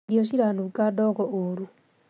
Irio ciranunga ndogo ũru